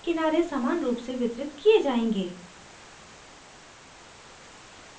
objects के दायें किनारे समान रूप से वितरित किये जायेंगे